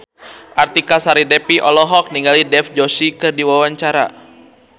Artika Sari Devi olohok ningali Dev Joshi keur diwawancara